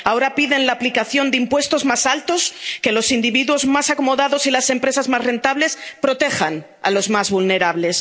Ahora piden la aplicación de impuestos más altos, que los individuos más acomodados y las empresas más rentables protejan a los más vulnerables.